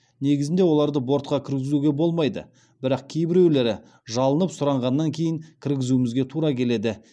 негізінде оларды бортқа кіргізуге болмайды бірақ кейбіреулері жалынып сұранғаннан кейін кіргізуімізге тура келеді